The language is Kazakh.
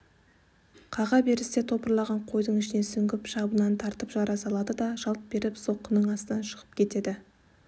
қаға берісте топырлаған қойдың ішіне сүңгіп шабынан тартып жарып салады да жалт беріп соққының астынан шығып кетеді